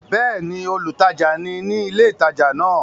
Bẹ́ẹ̀ni, olùtajà ni ní ilé ìtajà náà?